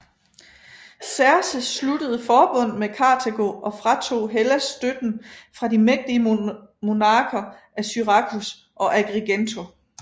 Xerxes sluttede forbund med Karthago og fratog Hellas støtten fra de mægtige monarker af Syrakus og Agrigento